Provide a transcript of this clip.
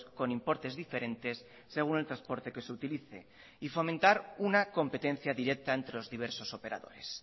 con importes diferentes según el transporte que se utilice y fomentar una competencia directa entre los diversos operadores